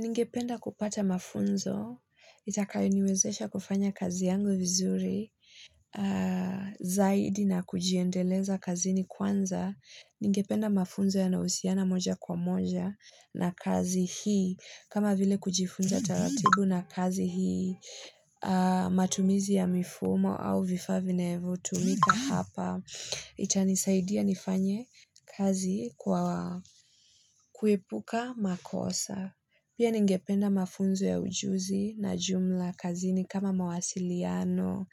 Ningependa kupata mafunzo, itakayoniwezesha kufanya kazi yangu vizuri, zaidi na kujiendeleza kazi ni kwanza. Ningependa mafunzo yanahusiana moja kwa moja na kazi hii. Kama vile kujifunza taratibu na kazi hii, matumizi ya mifumo au vifaa vinevo, tumika hapa. Itanisaidia nifanye kazi kwa kuepuka makosa. Pia ningependa mafunzo ya ujuzi na jumla kazini kama mawasiliano,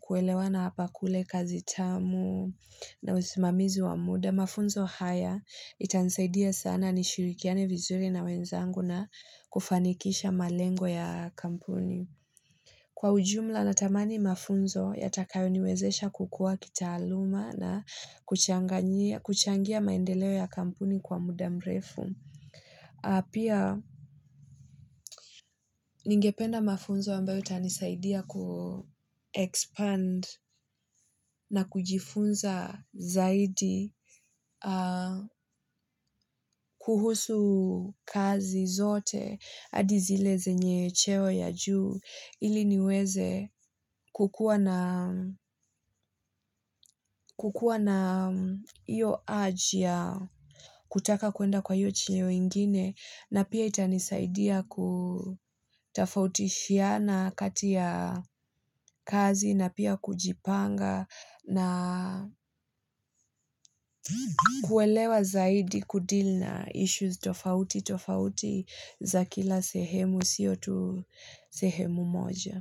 kuelewana hapa kule kazi tamu na usimamizi wa muda. Mafunzo haya itanisaidia sana ni shirikiani vizuri na wenzangu na kufanikisha malengo ya kampuni. Kwa ujumla natamani mafunzo, yatakayo niwezesha kukua kitaaluma na kuchangia maendeleo ya kampuni kwa muda mrefu. Pia ningependa mafunzo ambayo itanisaidia ku-expand na kujifunza zaidi kuhusu kazi zote hadi zile znye cheo ya juu ili niweze kukuwa na iyo urge ya kutaka kuenda kwa iyo cheo ingine. Na pia itanisaidia kutafautishiana kati ya kazi na pia kujipanga na kuelewa zaidi ku-deal na issues tofauti tofauti za kila sehemu siyo tu sehemu moja.